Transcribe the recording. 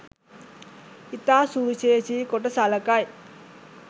ඉතා සුවිශේෂි කොට සලකයි